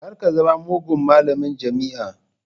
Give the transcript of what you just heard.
Kar ka zama mugun malamin jami'a